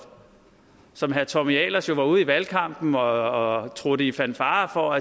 som herre tommy ahlers jo var ude i valgkampen og trutte i fanfare for